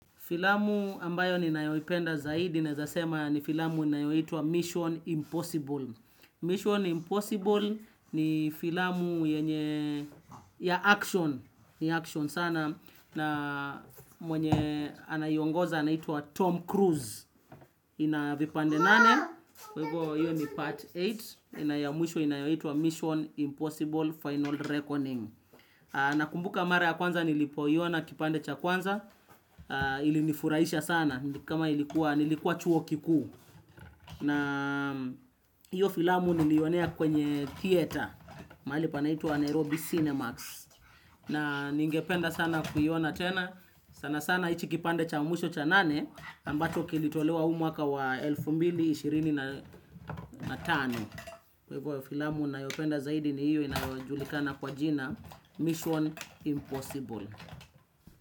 Filamu ambayo ni nayoipenda zaidi, nawezasema ni filamu inayoitwa Mission Impossible. Mission Impossible ni filamu yenye ya action, ni action sana, na mwenye anaiongoza anaitwa Tom Cruise. Inavipande nane, kwa hivo hiyo ni part nane, ina ya mwisho inayoitwa Mission Impossible Final Reckoning. Na kumbuka mara ya kwanza nilipoiona kipande cha kwanza ili nifurahisha sana ni kama ilikuwa nilikuwa chuo kikuu na hiyo filamu nilionea kwenye Kieta mahali panaitwa Nairobi Cinemax na ningependa sana kuiona tena sana sana hichi kipande cha mwisho cha nane ambacho kilitolewa huu mwaka wa elfu mbili ishirini na na tano. Kwa hivo filamu na yopenda zaidi ni hiyo inayojulikana kwa jina Mission Impossible.